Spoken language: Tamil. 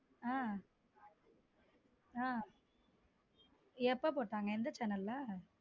ஹம் ஹம் எப்போ போட்டாங்க எந்த channel ல.